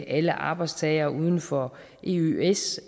alle arbejdstagere uden for eøs